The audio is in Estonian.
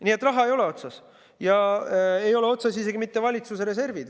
Nii et raha ei ole otsas ja ei ole otsas isegi mitte valitsuse reservid.